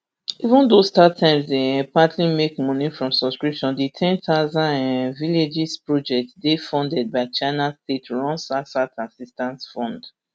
even though startimes dey um partly make money from subscriptions di ten thousand um villages project dey funded by china state run southsouth assistance fund